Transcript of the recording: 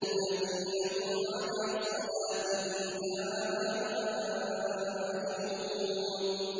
الَّذِينَ هُمْ عَلَىٰ صَلَاتِهِمْ دَائِمُونَ